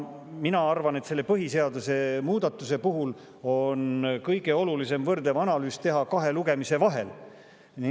Mina arvan, et selle põhiseaduse muudatuse puhul on kõige olulisem teha võrdlev analüüs kahe lugemise vahel.